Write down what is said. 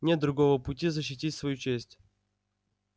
нет другого пути защитить свою честь